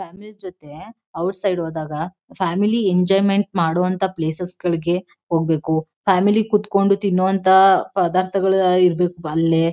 Family ಜೊತೇ outside ಹೋದಾಗ family enjoyment ಮಾಡುವಂಥ ಪ್ಲೇಸಸ್ ಗಳಿಗೆ ಹೋಗ್ಬೇಕು ಫ್ಯಾಮಿಲಿ ಕುತ್ಕೊಂಡ್ ತಿನ್ನೋವಂಥ ಪದಾರ್ಥಗಳೇ ಇರ್ಬೇಕು ಅಲ್ಲಿ.